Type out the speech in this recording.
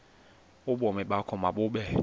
ubomi bakho mabube